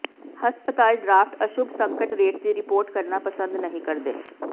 ਹਸਪਤਾਲ ਡਰਾਫਟ ਅਸ਼ੁੱਭ ਸੰਕਟ ਰੇਟ ਦੀ ਰਿਪੋਰਟ ਕਰਨਾ ਪਸੰਦ ਨਹੀਂ ਕਰਦੇ